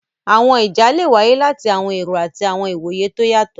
Àwọn ìjà́ le wáyé láti àwọn èró àti àwọn ìwoyè tó o yátọ.